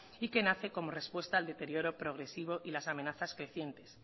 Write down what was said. y que nace como respuesta al deterioro progresivo y las amenazas crecientes